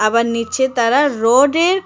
আবার নীচে তারা রোডের কা--